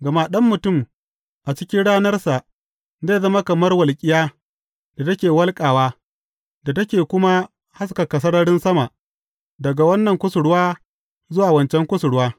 Gama Ɗan Mutum, a cikin ranarsa, zai zama kamar walƙiya da take walƙawa, da take kuma haskaka sararin sama, daga wannan kusurwa zuwa wancan kusurwa.